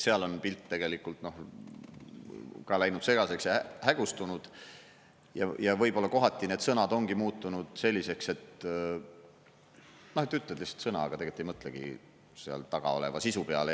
Seal on pilt tegelikult ka läinud segaseks ja hägustunud ja võib-olla kohati need sõnad ongi muutunud selliseks, et noh, ütlen lihtsalt sõna, aga tegelikult ei mõtlegi seal taga oleva sisu peale.